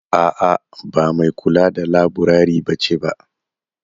A' a ba mai kula da laburare bace ba.